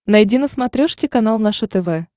найди на смотрешке канал наше тв